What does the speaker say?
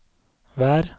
vær